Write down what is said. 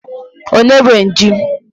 Onye nwe ji?